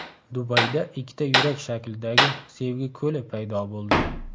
Dubayda ikkita yurak shaklidagi Sevgi ko‘li paydo bo‘ldi .